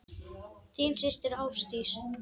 Þín systir Ásdís.